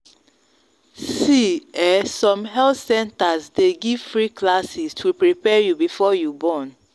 see ehnsome health centers day give free classes to prepare you before you born.